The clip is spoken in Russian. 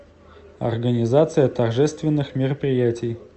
организация торжественных мероприятий